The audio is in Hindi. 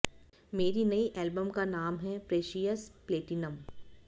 मेरी नई एलबम का नाम है प्रेशियस प्लेटिनम